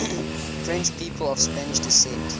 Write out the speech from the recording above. french people of spanish descent